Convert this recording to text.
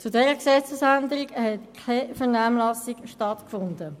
Zu dieser Gesetzesänderung fand keine Vernehmlassung statt.